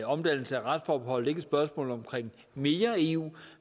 omdannelse af retsforbeholdet ikke et spørgsmål om mere eu